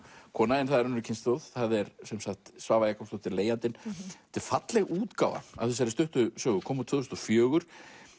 kona en það er önnur kynslóð það er sem sagt Svava Jakobsdóttir leigjandinn þetta er falleg útgáfa af þessari stuttu sögu kom út tvö þúsund og fjögur